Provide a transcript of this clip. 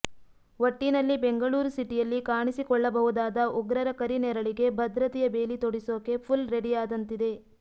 ಒಟ್ಟಿನಲ್ಲಿ ಬೆಂಗಳೂರು ಸಿಟಿಯಲ್ಲಿ ಕಾಣಿಸಿಕೊಳ್ಳಬಹುದಾದ ಉಗ್ರರ ಕರಿನೆರಳಿಗೆ ಭದ್ರತೆಯ ಬೇಲಿ ತೊಡಿಸೋಕೆ ಫುಲ್ ರೆಡಿಯಾದಂತಿದೆ